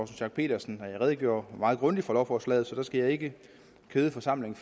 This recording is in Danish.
schack pedersen redegjorde meget grundigt for lovforslaget så jeg skal ikke kede forsamlingen